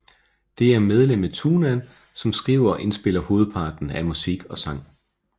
Det er medlemmet Tunnan som skriver og indspiller hovedparten af musik og sang